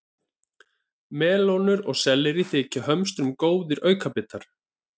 Melónur og sellerí þykja hömstrum góðir aukabitar.